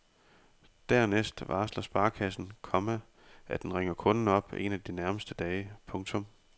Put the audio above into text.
Dernæst varsler sparekassen, komma at den ringer kunden op en af de nærmeste dage. punktum